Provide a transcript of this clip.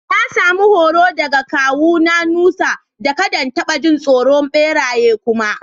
Na samu horo daga kawu na Nusa, da kadda in tabba jin tsoron beraye kuma.